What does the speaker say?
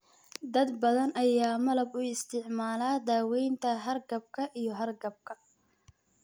Dad badan ayaa malab u isticmaala daawaynta hargabka iyo hargabka.